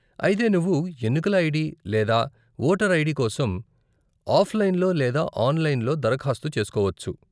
అయితే నువ్వు ఎన్నికల ఐడీ లేదా వోటర్ ఐడీ కోసం ఆఫ్లైన్లో లేదా ఆన్లైన్లో దరఖాస్తు చేసుకోవచ్చు.